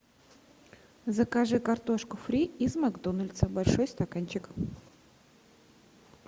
закажи картошку фри из макдональдса большой стаканчик